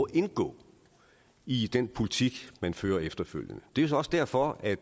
indgå i den politik man fører efterfølgende det er så også derfor at